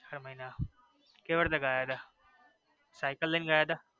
ચાર મહિના કેવી રીતે ગયા તા સાયકલ લઇ ને ગયા તા.